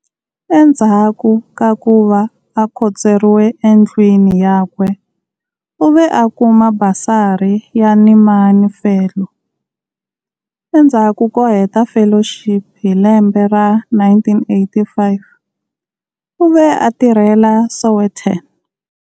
Endzhaku ka ku va a khotsweriwe endlwini yakwe, u ve a kuma basari ya Nieman Fellow. Endzhaku ko heta fellowship hi lembe ra1985, u ve a tirhela"Sowetan".